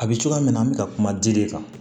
A bɛ cogoya min na an bɛ ka kuma dili kan